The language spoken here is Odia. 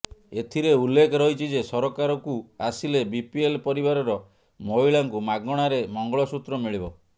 ଏଥିରେ ଉଲ୍ଲେଖ ରହିଛି ଯେ ସରକାରକୁ ଆସିଲେ ବିପିଏଲ ପରିବାରର ମହିଳାଙ୍କୁ ମାଗଣାରେ ମଙ୍ଗଳସୂତ୍ର ମିଳିବ